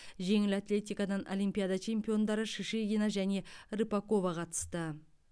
жеңіл атлетикадан олимпиада чемпиондары шишигина және рыпакова қатысты